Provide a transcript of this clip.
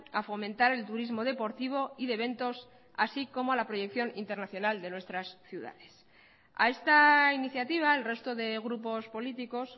a fomentar el turismo deportivo y de eventos así como la proyección internacional de nuestras ciudades a esta iniciativa el resto de grupos políticos